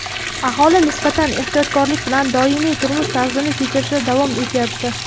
Aholi nisbatan ehtiyotkorlik bilan doimiy turmush tarzini kechirishda davom etyapti.